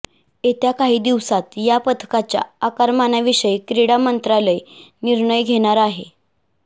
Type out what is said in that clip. येत्या काही दिवसांत या पथकाच्या आकारमानाविषयी क्रीडा मंत्रालय निर्णय घेणार आहे